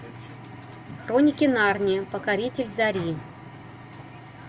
хроники нарнии покоритель зари